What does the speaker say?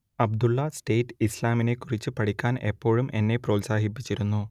അബ്ദുള്ള സേഠ് ഇസ്ലാമിനേക്കുറിച്ച് പഠിക്കാൻ എപ്പോഴും എന്നെ പ്രോത്സാഹിപ്പിച്ചിരുന്നു